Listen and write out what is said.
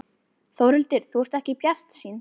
Þórhildur: Þú ert ekki bjartsýnn?